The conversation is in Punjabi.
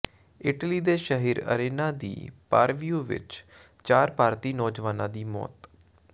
ਇਟਲੀ ਦੇ ਸ਼ਹਿਰ ਅਰੇਨਾ ਦੀ ਪਾਵੀਓ ਵਿੱਚ ਚਾਰ ਭਾਰਤੀ ਨੌਜਵਾਨਾਂ ਦੀ ਮੌਤ